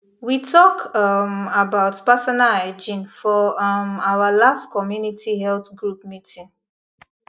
we talk um about personal hygiene for um our last community health group meeting